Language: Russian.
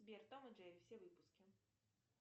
сбер том и джерри все выпуски